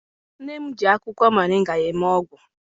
Nne m ji akwụkwọ moringa eme ọgwụ.